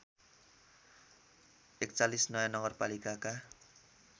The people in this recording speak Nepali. ४१ नयाँ नगरपालिका